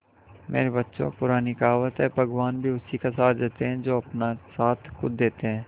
मेरे बच्चों पुरानी कहावत है भगवान भी उसी का साथ देते है जो अपना साथ खुद देते है